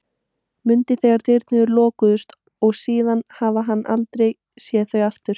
Mundi þegar dyrnar lokuðust og síðan hafði hann ekki séð þau aftur.